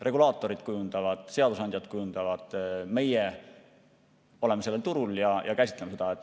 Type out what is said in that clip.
Regulaatorid kujundavad, seadusandjad kujundavad, meie oleme sellel turul ja käsitleme seda.